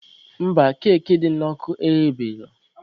Mba, keki dị n'ọkụ eghebeela.